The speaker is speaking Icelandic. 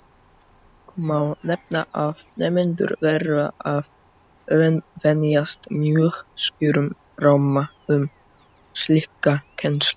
Að lokum má nefna að nemendur verða að venjast mjög skýrum ramma um slíka kennslu.